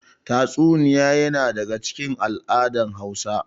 Tatsuniya yana daga cikin al'adar Hausa.